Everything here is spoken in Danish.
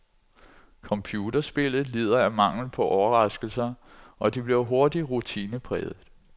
Computerspillet lider af mangel på overraskelser, og det bliver hurtigt rutinepræget.